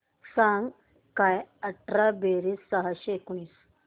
सांग काय अठरा बेरीज सहाशे एकोणीस